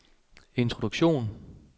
introduktion